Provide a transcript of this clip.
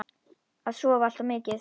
Og sofa allt of mikið.